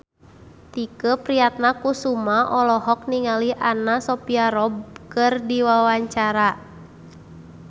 Tike Priatnakusuma olohok ningali Anna Sophia Robb keur diwawancara